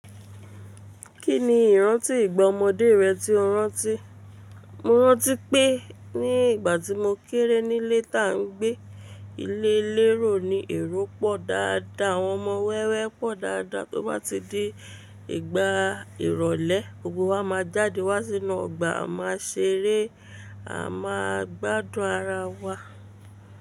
Kí ni ìrántí ìgbà ọmọdé rẹ tí o rántí? Mo rántí pé ní ìgbà tí mo kéré nílé tá ń gbé ilé lérò ni èrò pọ̀ dáadáa, àwọn ọmọ wẹ́wẹ́ pọ̀ dáadáa tó bá ti dé ìgbà ìrọ̀lẹ́ gbogbo wa máa jáde wá sínú ọgbà a máa ṣeré, a máa gbádùn ara wa.